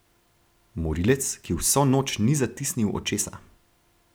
Morilec, ki vso noč ni zatisnil očesa.